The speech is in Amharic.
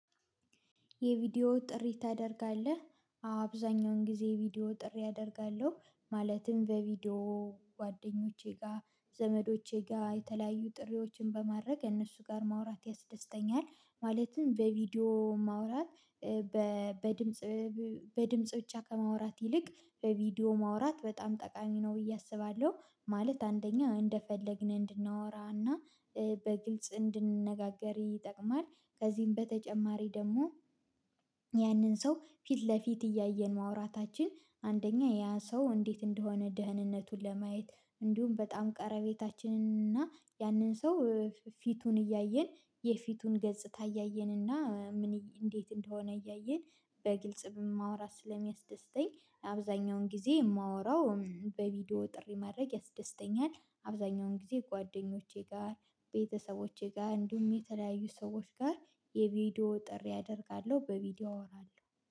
የቪዲዮ ጥሪ ታደርጋለህ? አብዛኛውን ጊዜ የቪዲዮ ጥሪ አደርጋለሁ ማለትም በቪዲዮ ጓደኞቼ ጋር ዘመዶቼ ጋር የተለያዩ ጥሪዎችን በማድረግ እነሱ ጋር ማውራት ያስደስተኛል። ማለትም በቪዲዮ ማውራት በድምጽ በድምጽ ብቻ ከማውራት ይልቅ በቪዲዮ ማውራት በጣም ጠቃሚ ነው ብዬ አስባለሁ። ማለት አንደኛ እንደፈለግን እንድናወራና በግልጽ እንድንነጋገር ይጠቅማል። ከዚህም በተጨማሪ ደግሞ ያንን ሰው ፊት ለፊት እያየን ማውራታችን አንደኛ ያ ሰው እንዴት እንደሆነ ደህንነቱን ለማየት እንዲሁም በጣም ቀረቤታችንን እና ያንን ሰው ፊቱን እያየን የፊቱን ገጽታ እያየን እና ምን እንዴት እንደሆነ እያየን በግልጽ በማውራት ስለሚያስደስተኝ። አብዛኛውን ጊዜ የማወራው በቪዲዮ ጥሪ ማድረግ ያስደስተኛል። አብዛኛውን ጊዜ ጓደኞቼ ጋር ቤተሰቦቼ ጋር እንዲሁም የተለያዩ ሰዎች ጋር የቪዲዮ ጥሪ አደርጋለሁ በቪዲዮ አወራለሁ